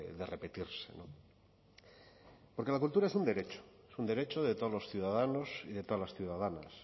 de repetirse porque la cultura es un derecho es un derecho de todos los ciudadanos y de todas las ciudadanas